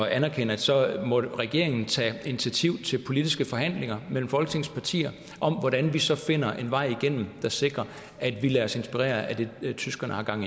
anerkende at så må regeringen tage initiativ til politiske forhandlinger mellem folketingets partier om hvordan vi så finder en vej igennem der sikrer at vi lader os inspirere af det tyskerne har gang